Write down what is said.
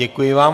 Děkuji vám.